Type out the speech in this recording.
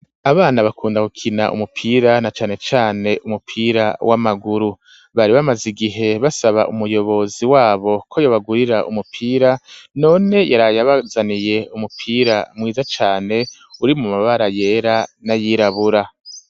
Abana bakunda gukina umupira, na cane cane umupira w'amaguru; bari bamaze igihe basaba umuyobozi wabo ko yobagurira umupira, none yaraye abazaniye umupira mwiza cane, uri mu mabara yera n'ayirabura.